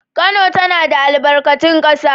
Kano tana da albarkatun ƙasa